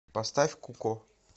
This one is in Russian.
поставь куко